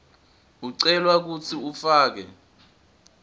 ucelwa kutsi ufake